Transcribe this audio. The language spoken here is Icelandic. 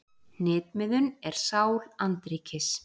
Hnitmiðun er sál andríkis.